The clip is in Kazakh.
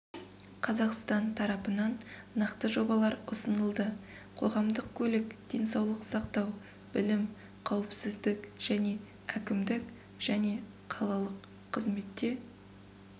қазақстан тарапынан нақты жобалар ұсынылды қоғамдық көлік денсаулық сақтау білім қауіпсіздік және әкімдік және қалалық қызметте